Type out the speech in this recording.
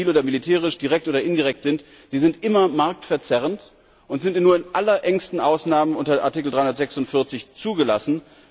Ob sie nun zivil oder militärisch, direkt oder indirekt sind, sie sind immer marktverzerrend und sind nur in allerengsten Ausnahmen unter Artikel 346 zugelassen.